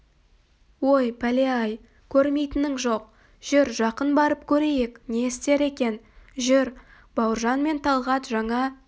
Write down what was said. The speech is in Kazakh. ой пәле-ай көрмейтінің жоқ жүр жақын барып көрейік не істер екен жүр бауыржан мен талғат жаңа